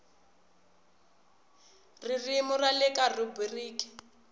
ririmi ra le kaya rhubiriki